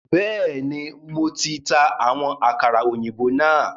Bẹẹni, Mo ti ta àwọn àkàrà òyìnbó náà